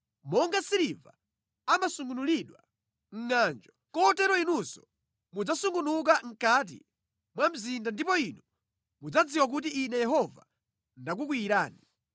Monga siliva amasungunulidwa mʼngʼanjo, kotero inunso mudzasungunuka mʼkati mwa mzinda ndipo Inu mudzadziwa kuti Ine Yehova ndakukwiyirani.’ ”